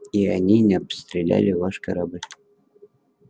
и они не обстреляли ваш корабль